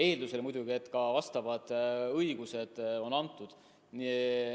Muidugi eeldusel, et ka vastavad õigused on antud.